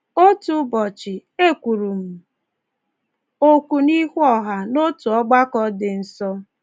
Otu ụbọchị, e kwuru m okwu n'ihu ọha n’otu ọgbakọ dị nso.